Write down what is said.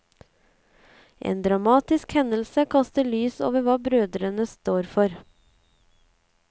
En dramatisk hendelse kaster lys over hva brødrene står for.